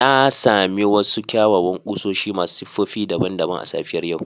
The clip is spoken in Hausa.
Na sami wasu kyawawan kusoshi masu siffofi daban-daban a safiyar yau